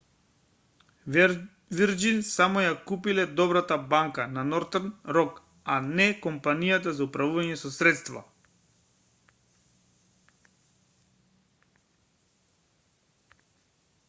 вирџин само ја купиле добрата банка на нортерн рок а не компанијата за управување со средства